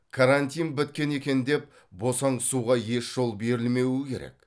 карантин біткен екен деп босаңсуға еш жол берілмеуі керек